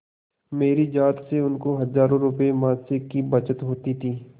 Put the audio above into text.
मेरी जात से उनको हजारों रुपयेमासिक की बचत होती थी